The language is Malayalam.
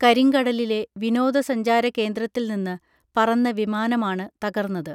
കരിങ്കടലിലെ വിനോദസഞ്ചാരകേന്ദ്രത്തിൽനിന്ന് പറന്ന വിമാനമാണ് തകർന്നത്